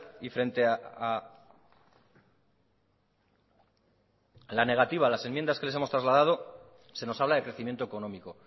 y frente a la negativa a las enmiendas que les hemos trasladado se nos habla de crecimiento económico